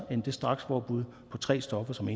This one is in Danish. end det strakspåbud på tre stoffer som